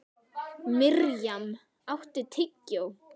Mirjam, áttu tyggjó?